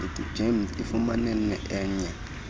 gems ifumane enye